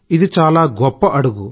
ఇది చాలా గొప్ప అడుగు